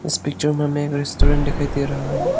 इस पिक्चर में हमें एक रेस्टोरेंट दिखाई दे रहा है।